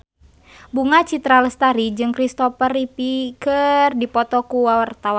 Bunga Citra Lestari jeung Kristopher Reeve keur dipoto ku wartawan